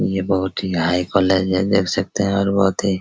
ये बहुत ही हाई कॉलेज है देख सकते हैं और बहुत ही --